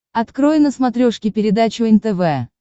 открой на смотрешке передачу нтв